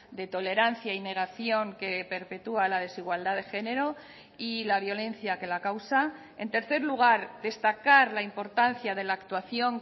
de tolerancia y negación que perpetúa la desigualdad de género y la violencia que la causa en tercer lugar destacar la importancia de la actuación